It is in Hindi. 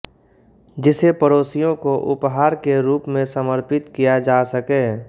जिसे पड़ोसियों को उपहार के रूप में समर्पित किया जा सके